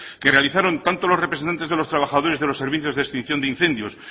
que realizaron tanto los representantes de los trabajadores de los servicios de extinción de incendios